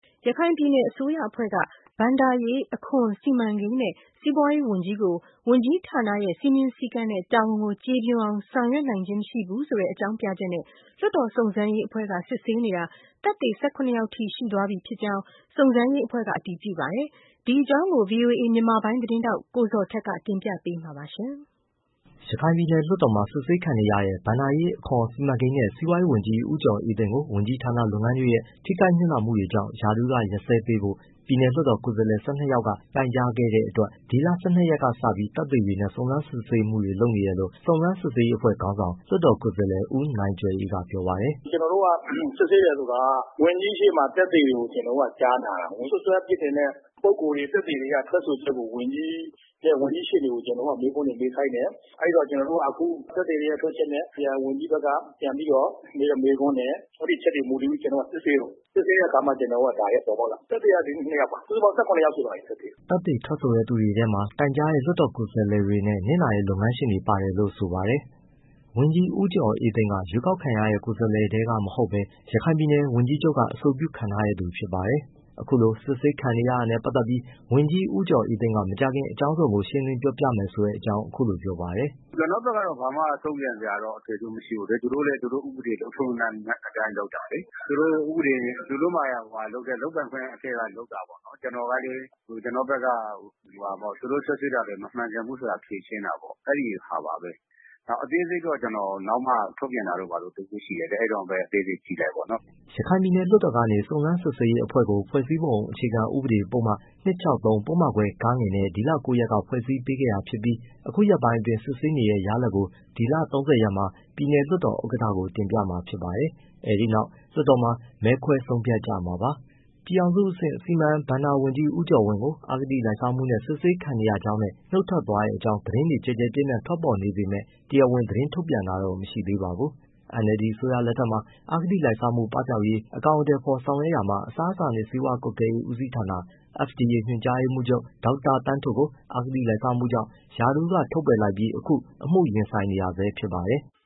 ရခိုင်ပြည်နယ် အစိုးရအဖွဲ့က ဘဏ္ဍာရေး၊ အခွန်၊ စီမံကိန်းနဲ့ စီးပွားရေးဝန်ကြီးကို ဝန်ကြီးဌာနရဲ့ စည်းမျဉ်း၊ စည်းကမ်းနဲ့ တာဝန်ကို ကျေပွန်အောင် ဆောင်ရွက်နိုင်ခြင်းမရှိဘူးဆိုတဲ့ အကြောင်းပြချက်နဲ့ လွှတ်တော်စုံစမ်းရေး အဖွဲ့က စစ်ဆေးနေတာ သက်သေ ၁၇ ယောက်ထိရှိသွားပြီ်ဖြစ်ကြောင်း စုံစမ်းရေးအဖွဲ့ကအတည်ပြုပါတယ်။ ဒီအကြောင်းကို ဗွီအိုအေ မြန်မာပိုင်း သတင်းထောက် ကိုဇော်ထက်က တင်ပြပေးမှာပါ။ ရခိုင်ပြည်နယ်လွှတ်တော်မှာ စစ်ဆေးခံနေရတဲ့ ဘဏ္ဍာရေး၊ အခွန်၊ စီမံကိန်းနဲ့ စီးပွားရေးဝန်ကြီး ဦးကျော်အေးသိန်းကို ဝန်ကြီးဌာနလုပ်ငန်းတွေရဲ့ ထိခိုက်နစ်နာမှုတွေကြောင့် ရာထူးကရပ်စဲပေးဖို့ ပြည်နယ်လွှတ်တော်ကိုယ်စားလှယ် ၁၂ယောက်က တိုင်ကြားခဲ့တဲ့အတွက် ဒီလ၁၂ရက်ကစပြီး သက်သေတွေနဲ့ စုံစမ်းစစ်ဆေးမှုတွေ လုပ်နေတယ်လို့ စုံစမ်းစစ်ဆေးရေး အဖွဲ့ခေါင်းဆောင် လွှတ်တော်ကိုယ်စားလှယ် ဦးနိုင်ကြွယ်အေးက ပြောပါတယ်။ “ကျွန်တော်တို့က စစ်ဆေးတယ်ဆိုတာက ဝန်ကြီး ရှေ့မှာကျွန်တော်တို့က သက်သေတွေကို ကျွန်တော်တို့က ကြားနာတာပေါ့။ စွပ်စွဲအပြစ်တင်တဲ့ ပုဂ္ဂိုလ်တွေ၊ သက်သေတွေက ထွက်ဆိုချက်ကို ဝန်ကြီးရှေ့တင် ကျွန်တော်တို့က မေးခွန်းတွေ မေးခိုင်းတယ်။ အဲဒီတော့ ကျွန်တော်တို့က အခု သက်သေတွေရဲ့ ထွက်ချက်နဲ့ ဝန်ကြီးဘက်ကပြန်ပြီးတော့ မေးတဲ့မေးခွန်းနဲ့ အဲဒီအချက်တွေပေါ် မူတည်ပြီး ကျွန်တော်တို့က စစ်ဆေးတာ။ စစ်ဆေးတဲ့အခါ ဒါတွေကပေါ်ပေါက်လာတာ။ သက်သေကဒီနေ့နှစ်ယောက်ပါ၊ စုစုပေါင်း ၁၇ယောက်ရှိသွားပါပြီ။” သက်သေထွက်ဆိုတဲ့သူတွေထဲမှာ တိုင်ကြားတဲ့ လွှတ်တော်ကိုယ်စားလှယ်တွေနဲ့ နစ်နာတဲ့ လုပ်ငန်းရှင်တွေပါတယ်လို့ ဆိုပါတယ်။ ဝန်ကြီး ဦးကျော်အေးသိန်းက ရွှေးကောက်ခံရတဲ့ ကိုယ်စားလှယ်ထဲကမဟုတ်ဘဲ ရခိုင်ပြည်နယ် ဝန်ကြီးချုပ်က အဆိုပြုခန့်ထားတဲ့ သူဖြစ်ပါတယ်။ အခုလို စစ်ဆေးခံနေရတာနဲ့ပတ်သတ်ပြီး ဝန်ကြီးဦးကျော်အေးသိန်းက မကြာခင် အကြောင်းစုံကို ရှင်းလင်းပြောပြမယ်ဆိုတဲ့အကြောင်း အခုလိုပြောပါတယ်။ “ကျွန်တော့်ဘက်ကတော့ ဘာမှ တုံ့ပြန်စရာတော့ အထွေအထူးမရှိဘူးလေ၊ သူတို့လည်း သူတို့ဥပဒေ လုပ်ထုံး၊လုပ်နည်း အတိုင်းလုပ်တာလေ။ သူတို့လုပ်ပိုင်ခွင့် အထဲကနေလုပ်တာပေါ့နော်။ ကျွန်တော်ကလည်း ကျွန်တော့ဘက်က သူတို့စွပ်စွဲတာတွေ မမှန်ကန်ဘူးဆိုတာ ဖြေရှင်းတာပေါ့။ အဲဒီဟာပါပဲ။ အသေးစိတ်တော့ ကျွန်တော်နောက်မှ ထုတ်ပြန်တာတို့ ဘာတို့ တစ်ခုရှိတယ်လေ၊ အဲဒီတော့မှပဲ အသေးစိတ်ကြည့်လိုက်ပေါ့နော်။” ရခိုင်ပြည်နယ်လွှတ်တော်ကနေ စုံစမ်းစစ်ဆေးရေးအဖွဲ့ကို ဖွဲ့စည်းပုံအခြေခံဥပဒေ ပုဒ်မ ပုဒ်မခွဲ နဲ့ ဒီလ၉ရက်က ဖွဲ့စည်းပေးခဲ့တာဖြစ်ပြီး အခုရက်ပိုင်းအတွင်း စစ်ဆေးနေတဲ့ ရလာဒ်ကို ဒီလ၃၀ရက်မှာ ပြည်နယ်လွှတ်တော်ဥက္ကဌကို တင်ပြမှာဖြစ်ပါတယ်။ အဲဒီနောက် လွှတ်တော်မှာ မဲခွဲဆုံးဖြတ်ကြမှာဖြစ်ပါတယ်။ ပြည်ထောင်စုအဆင့် စီမံဘဏ္ဍာဝန်ကြီး ဦးကျော်ဝင်းကို အဂတိလိုက်စားမှုနဲ့ စစ်ဆေးခံနေရကြောင်းနဲ့ နှုတ်ထွက်သွားတဲ့အကြောင်း သတင်းတွေကျယ်ကျယ်ပြန့်ပြန့်ထွက်ပေါ်နေပေမဲ့ တရားဝင်သတင်းထုတ်ပြန်တာတော့ မရှိသေးပါဘူး။ NLD အစိုးရလက်ထက်မှာ အဂတိလိုက်စားမှုပပျောက်ရေး အကောင်အထည်ဖေါ်ဆောင်ရွက်ရာမှာ FDA အစားအစာနဲ့ဆေးဝါးကွပ်ကဲမှုဦးစီးဌာန ညွှန်ကြားရေးမှူးချုပ် ဒေါက်တာသန်းထွဋ်ကို အဂတိလိုက်စားမှုကြောင့် ရာထူးကထုတ်ပယ်လိုက်ပြီး အခုအမှုရင်ဆိုင်နေရဆဲဖြစ်ပါတယ်။